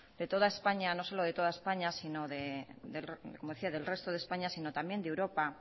de toda españa no solo de toda españa sino de como decía del resto de españa sino también de europa